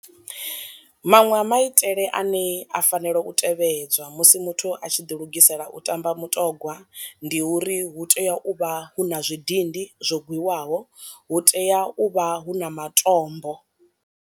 Manwe a maitele ane a fanela u tevhedzwa musi muthu a tshi ḓi lugisela u tamba mutongwa, ndi uri hu tea u vha hu na zwidindi zwo gwiwaho hu tea u vha hu na matombo.